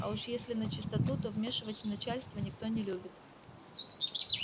а уж если начистоту то вмешивать начальство никто не любит